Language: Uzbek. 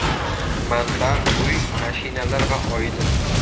Manba Uy, mashinalar va oila.